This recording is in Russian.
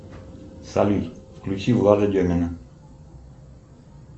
салют включи влада демина